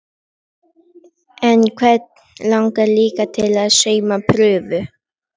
En hvern langaði líka til að sauma prufu?